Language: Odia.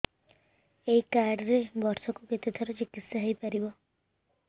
ଏଇ କାର୍ଡ ରେ ବର୍ଷକୁ କେତେ ଥର ଚିକିତ୍ସା ହେଇପାରିବ